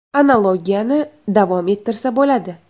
Analogiyani davom ettirsa bo‘ladi.